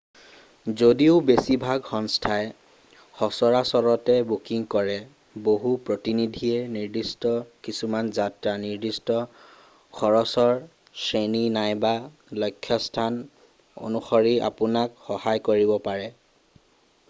যদিও বেছিভাগ সংস্থাই সচৰাচৰতে বুকিং কৰে বহু প্ৰতিনিধিয়ে নিৰ্দিষ্ট কিছুমান যাত্ৰা নিৰ্দিষ্ট খৰচৰ শ্ৰেণী নাইবা লক্ষ্যস্থান অনুসৰি আপোনাক সহায় কৰিব পাৰে